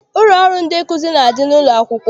Ụlọ ọrụ ndị nkụzi na-adị n'ụlọakwụkwọ.